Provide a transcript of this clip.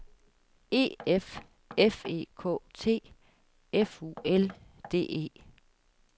E F F E K T F U L D E